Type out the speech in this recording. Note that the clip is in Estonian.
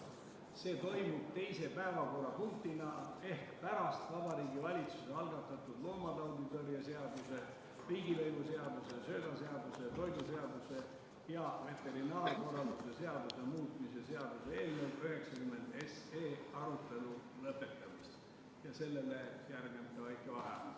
Arutelu toimub teise päevakorrapunktina ehk pärast Vabariigi Valitsuse algatatud loomatauditõrje seaduse, riigilõivuseaduse, söödaseaduse, toiduseaduse ja veterinaarkorralduse seaduse muutmise seaduse eelnõu 90 arutelu lõpetamist ja sellele järgneb väike vaheaeg.